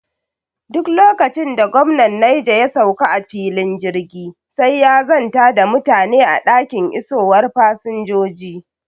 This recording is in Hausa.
Duk lokacin da gwamnan Neja ya sauka a filin jirgi, sai ya zanta da mutane a dakin isowar fasinjoji.